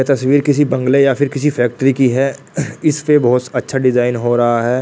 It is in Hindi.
यह तस्वीर किसी बंगले या फिर किसी फैक्ट्री की है इस पे बहुत अच्छा डिज़ाइन हो रहा है।